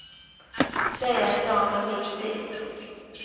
Be att få en remiss dit.